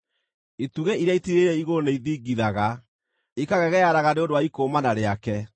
Itugĩ iria itiirĩrĩire igũrũ nĩ ithingithaga, ikagegearaga nĩ ũndũ wa ikũũmana rĩake.